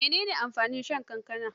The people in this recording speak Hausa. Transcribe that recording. Mene ne amfanin shan kankana?